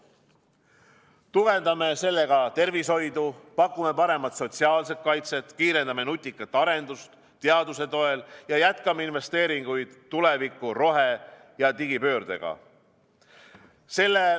Tugevdame sellega tervishoidu, pakume paremat sotsiaalset kaitset, kiirendame nutikat arendust teaduse toel ja jätkame investeeringuid tulevikku rohe- ja digipöördega.